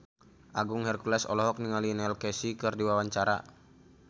Agung Hercules olohok ningali Neil Casey keur diwawancara